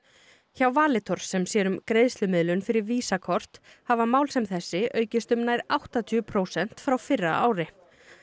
hjá Valitor sem sér um greiðslumiðlun fyrir kort hafa mál sem þessi aukist um nær áttatíu prósent frá fyrra ári